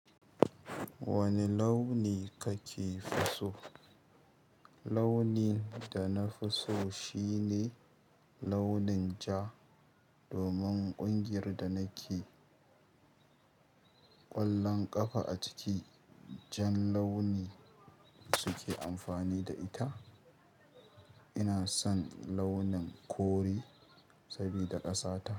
Wane launi kake so? Launin da na fi so shi ne launin ja, domin ƙungiyar da nake ƙwallon ƙafa a ciki jan launi suke amfani da ita. Ina son launin kore sabida ƙasa ta.